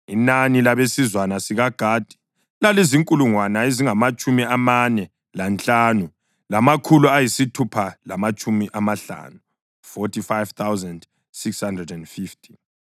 Inani labesizwana sikaGadi lalizinkulungwane ezingamatshumi amane lanhlanu, lamakhulu ayisithupha lamatshumi amahlanu (45,650).